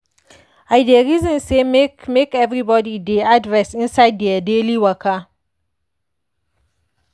i dey reason say make make everybody dey add rest inside their daily waka.